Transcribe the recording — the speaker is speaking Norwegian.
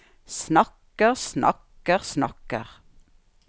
snakker snakker snakker